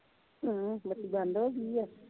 ਭੈਣਾਂ ਬੱਤੀ ਬੰਦ ਹੋਗੀਆ